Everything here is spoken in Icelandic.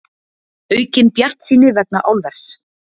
Aukin bjartsýni vegna álvers